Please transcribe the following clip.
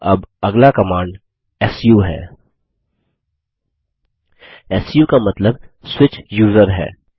अब अगला command su है सू का मतलब स्विच यूजर है